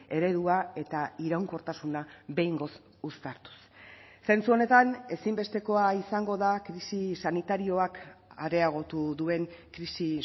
eredua eta iraunkortasuna behingoz uztartuz zentzu honetan ezinbestekoa izango da krisi sanitarioak areagotu duen krisi